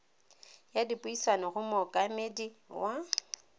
ya dipuisano go mookamedi wa